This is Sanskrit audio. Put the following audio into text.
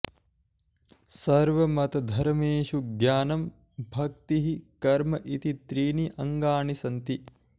सर्वमतधर्मेषु ज्ञानं भक्तिः कर्म इति त्रीणि अङ्गानि सन्ति